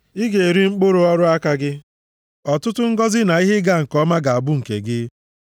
Ị ga-eri mkpụrụ ọrụ aka gị; ọtụtụ ngọzị na ihe ịga nke ọma ga-abụ nke gị.